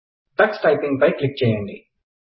Tux typing పై click చేయైండి